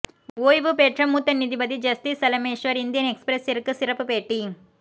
ஓய்வு பெற்ற மூத்த நீதிபதி ஜஸ்தி செலமேஷ்வர் இந்தியன் எக்ஸ்பிரஸ்ஸிற்கு சிறப்புப் பேட்டி